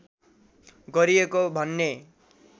गरिएको भन्ने